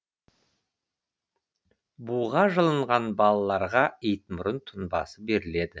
буға жылынған балаларға итмұрын тұнбасы беріледі